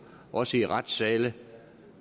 også i retssale